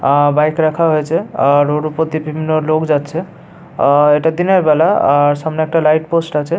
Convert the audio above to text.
আ-আ bike রাখা হয়েছে। আর রোড ওপর দিয়ে বিভিন্ন লোক যাচ্ছে আ এটা দিনের বেলা। আর সামনে একটা লাইট পোস্ট আছে।